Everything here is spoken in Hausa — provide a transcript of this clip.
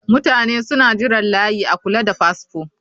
Mutane suna jiran layi a kula da fasfo